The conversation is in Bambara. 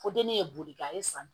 Fo denni ye boli kɛ a ye san